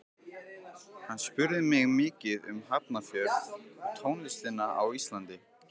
Hann spurði mig mikið um Hafnarfjörð og tónlistina á Íslandi.